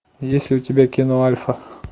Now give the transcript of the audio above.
есть ли у тебя кино альфа